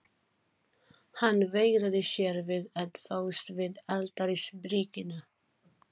Hann veigraði sér við að fást við altarisbríkina.